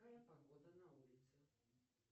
какая погода на улице